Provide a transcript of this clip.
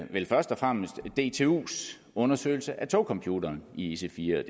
vel først og fremmest dtus undersøgelse af togcomputeren i ic4